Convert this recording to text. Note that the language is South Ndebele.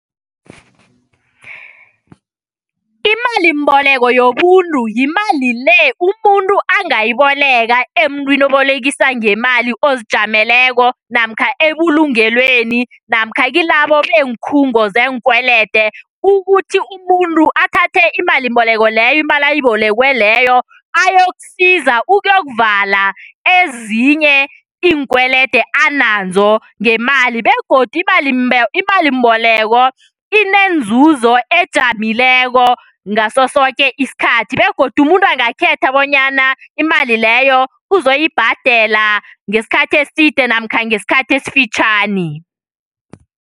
Imalimboleko yobuntu, yimali le umuntu angayiboleka emuntwini obolekisa ngemali ozijameleko namkha ebulungelweni, namkha kilabo beenkhungo zeenkwelede. Ukuthi umuntu athathe imalimboleko leyo ayibo ayokusiza ukuyokuvala ezinye iinkwelede nazo ngemali, begodu imali imalimboleko ineenzuzo ejamileko ngaso soke isikhathi begodu umuntu angakhetha bonyana imali leyo uzoyibhadela ngesikhathi eside namkha ngesikhathi esifitjhani.